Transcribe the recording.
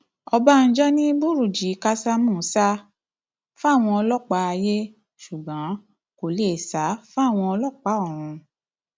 ọbánjọ ni bùrúnjí kásámù sá fáwọn ọlọpàá ayé ṣùgbọn kó lè sá fáwọn ọlọpàá ọrun